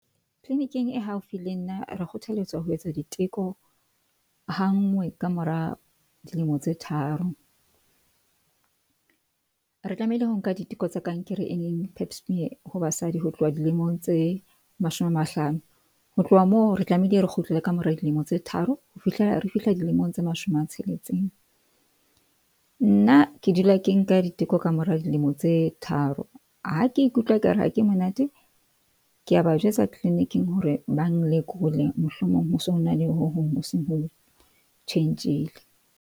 Clinic-ing e haufi le nna, re kgothalletswa ho etsa diteko ha nngwe. Ka mora dilemo tse tharo re tlamehile ho nka diteko tse kankere e leng Pap smear ho basadi, ho tloha dilemong tse mashome a mahlano ho tloha moo re tlamehile re kgutlele ka mora dilemo tse tharo. Ho fihlela re fihla dilemong tse mashome a tsheletseng. Nna ke dula ke nka diteko ka mora dilemo tse tharo. Ha ke ikutlwa e kare ha ke monate. Ke a ba jwetsa clinic-ing hore ba nlekole mohlomong ho sona le ho hong ho seng ho tjhentjhile.